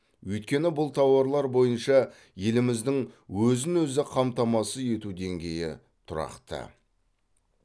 өйткені бұл тауарлар бойынша еліміздің өзін өзі қамтамасыз ету деңгейі тұрақты